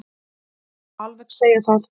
Það má alveg segja það.